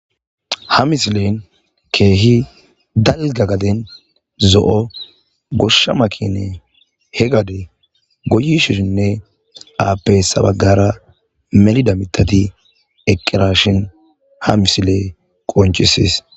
ha misilen keehi dalga gaden zo7o goshsha makine he gade goyi shisinne aappe sabagara melida mitati eqqirashin ha misile qoncisis